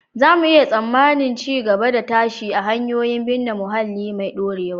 Za mu iya tsammanin ci gaba da tashi a hanyoyin binne muhalli mai dorewa